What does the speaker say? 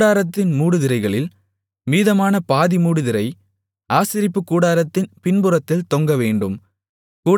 கூடாரத்தின் மூடுதிரைகளில் மீதமான பாதிமூடுதிரை ஆசரிப்பு கூடாரத்தின் பின்புறத்தில் தொங்கவேண்டும்